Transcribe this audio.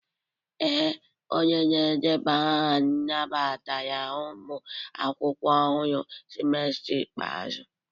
Ee, onye na-edeba aha nabatara ụmụ akwụkwọ ọhụrụ semester ikpeazụ